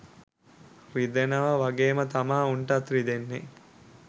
රිදෙනව වගේම තමා උන්ටත් රිදෙන්නෙ.